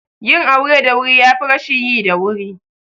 Yin aure da wuri yafi rashin yi da wuri